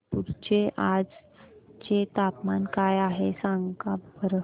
नागपूर चे आज चे तापमान काय आहे सांगा बरं